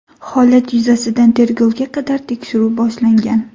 Holat yuzasidan tergovga qadar tekshiruv boshlangan.